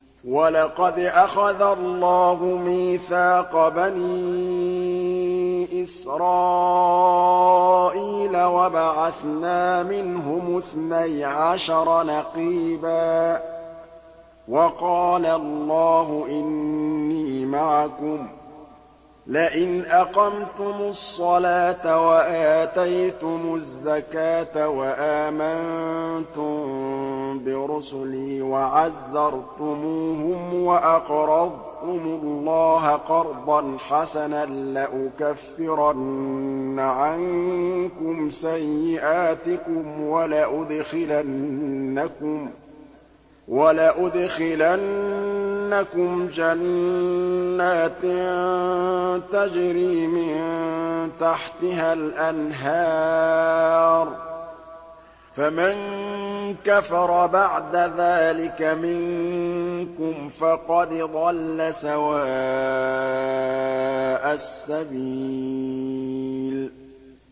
۞ وَلَقَدْ أَخَذَ اللَّهُ مِيثَاقَ بَنِي إِسْرَائِيلَ وَبَعَثْنَا مِنْهُمُ اثْنَيْ عَشَرَ نَقِيبًا ۖ وَقَالَ اللَّهُ إِنِّي مَعَكُمْ ۖ لَئِنْ أَقَمْتُمُ الصَّلَاةَ وَآتَيْتُمُ الزَّكَاةَ وَآمَنتُم بِرُسُلِي وَعَزَّرْتُمُوهُمْ وَأَقْرَضْتُمُ اللَّهَ قَرْضًا حَسَنًا لَّأُكَفِّرَنَّ عَنكُمْ سَيِّئَاتِكُمْ وَلَأُدْخِلَنَّكُمْ جَنَّاتٍ تَجْرِي مِن تَحْتِهَا الْأَنْهَارُ ۚ فَمَن كَفَرَ بَعْدَ ذَٰلِكَ مِنكُمْ فَقَدْ ضَلَّ سَوَاءَ السَّبِيلِ